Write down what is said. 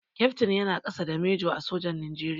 Kyaftin yana ƙasa da Manjo a sojan Nigeria.